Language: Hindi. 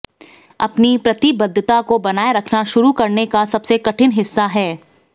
अपनी प्रतिबद्धता को बनाए रखना शुरू करने का सबसे कठिन हिस्सा है